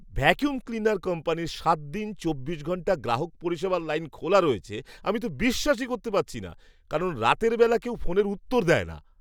Vacuum cleaner কোম্পানির সাত দিন চব্বিশ ঘণ্টা গ্রাহক পরিষেবার লাইন খোলা রয়েছে আমি তো বিশ্বাসই করতে পারছি না, কারণ রাতের বেলা কেউ ফোনের উত্তর দেয় না!